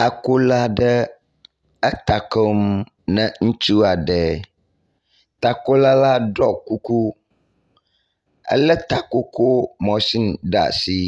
Takola aɖe eta kom ne ŋutsu aɖe. Takola la ɖɔ kuku, elé takoko mashini ɖe asi,